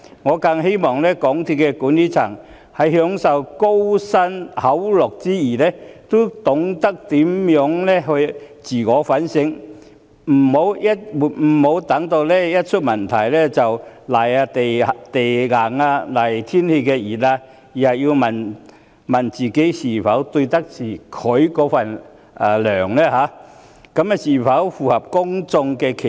我更希望港鐵公司的管理層在享受高薪厚祿之餘，要懂得自我反省，不要待問題出現後才"賴地硬"、"賴天時熱"，而是要問自己是否愧對薪酬、是否符合公眾期望。